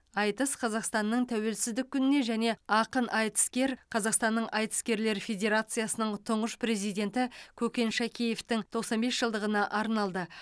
айтыс қазақстанның тәуелсіздік күніне және ақын айтыскер қазақстанның айтыскерлер федерациясының тұңғыш президенті көкен шәкеевтің тоқсан бес жылдығына арналды